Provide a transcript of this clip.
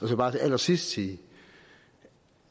jeg bare til allersidst sige